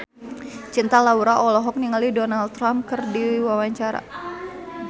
Cinta Laura olohok ningali Donald Trump keur diwawancara